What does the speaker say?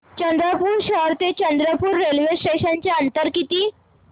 चंद्रपूर शहर ते चंद्रपुर रेल्वे स्टेशनचं अंतर किती